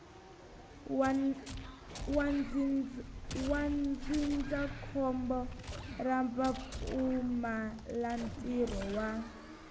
wa ndzindzakhombo ra vupfumalantirho wa